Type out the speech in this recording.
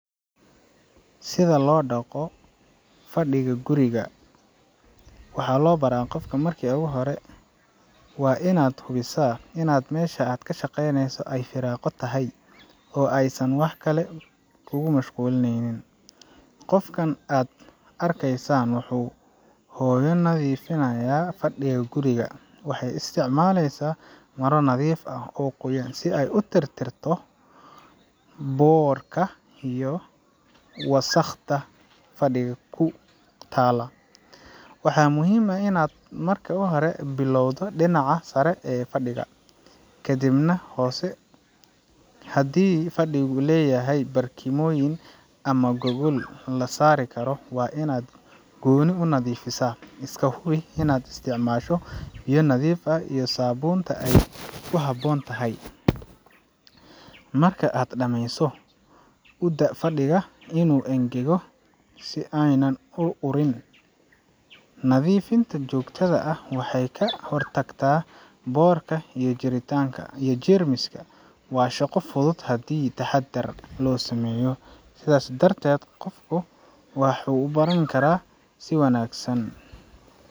Sida loo dhaqo fadhiga guriga ,waxaa loo baraa qofka Marki u hore, waa inaad hubisaa inaad meesha aad ka shaqaynayso ay firaaqo tahay aysan wax kale kugu mashquulinayn. Qofkan aad arkaysaan wuxuu hooyo nadiifinaya fadhiga guriga. Waxay isticmalaysa maro nadiif ah oo qoyan si ay u tirtirto boodhka iyo wasakhda fadhiga ku talla. Waxaa muhiim ah inaad marka hore ka bilowdo dhinaca sare ee fadhiga, kadibna hoose . Haddii uu fadhigu leeyahay barkimooyin ama gogol la saari karo, waa in aad gooni u nadiifisaa. Iska hubi in aad isticmaasho biyo nadiif ah iyo saabuunta ay ku habboon tahay. Marka aad dhamayso, u daa fadhiga inuu engego si aanay ur xun u samayn. Nadiifinta joogtada ah waxay ka hortagtaa boodhka iyo jeritaanka , iyo jeermiska. Waa shaqo fudud haddii taxaddar loo sameeyo. Sidaas darteed, qofku waxuu u baran karaa si wanaagsan.